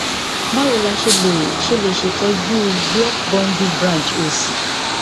bawo la se le se le se itoju block bundle branch osi